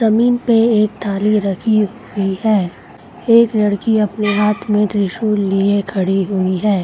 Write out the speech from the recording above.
जमीन पे एक थाली रखी हुई है एक लड़की अपने हाँथ में त्रिशूल लिए खड़ी हुई है।